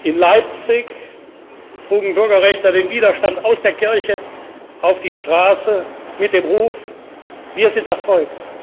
In Leipzig trugen Bürgerrechtler den Widerstand aus der Kirche auf die Straße mit dem Ruf Wir sind das Volk!,